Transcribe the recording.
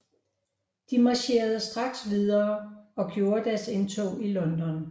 De marcherede straks videre og gjorde deres indtog i London